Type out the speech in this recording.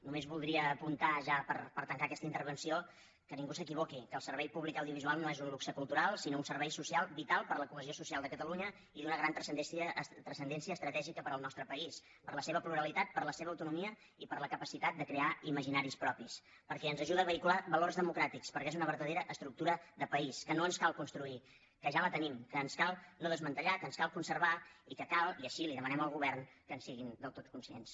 només voldria apuntar ja per tancar aquesta intervenció que ningú s’equivoqui que el servei públic audiovisual no és un luxe cultural sinó un servei social vital per a la cohesió social de catalunya i d’una gran transcendència estratègica per al nostre país per la seva pluralitat per la seva autonomia i per la capacitat de crear imaginaris propis perquè ens ajuda a vehicular valors democràtica perquè és una verdadera estructura de país que no ens cal construir que ja la tenim que ens cal no desmantellar que ens cal conservar i que cal i així li ho demanem al govern que en siguin del tot conscients